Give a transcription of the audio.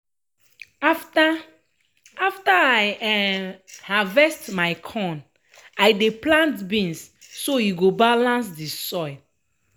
after after i um harvest my corn um i dey plant beans so e go balance de soil.